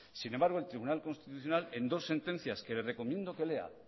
sin embargo el tribunal constitucional en dos sentencias que le recomiendo que lea